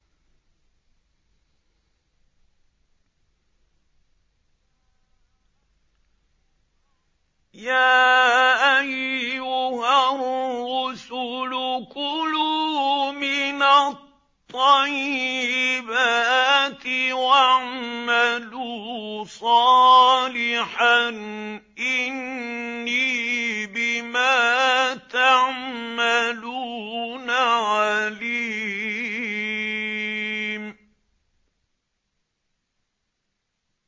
يَا أَيُّهَا الرُّسُلُ كُلُوا مِنَ الطَّيِّبَاتِ وَاعْمَلُوا صَالِحًا ۖ إِنِّي بِمَا تَعْمَلُونَ عَلِيمٌ